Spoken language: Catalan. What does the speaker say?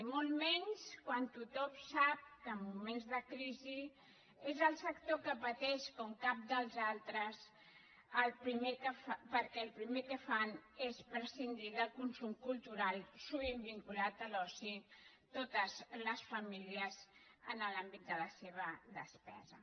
i molt menys quan tothom sap que en moments de crisi és el sector que pateix com cap dels altres perquè el primer que fan és prescindir del consum cultural sovint vinculat a l’oci totes les famílies en l’àmbit de la seva despesa